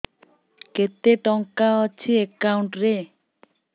କେତେ ଟଙ୍କା ଅଛି ଏକାଉଣ୍ଟ୍ ରେ